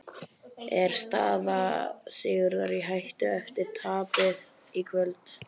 Er staða Sigurðar í hættu eftir tapið í kvöld?